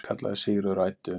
kallaði Sigríður og æddi um.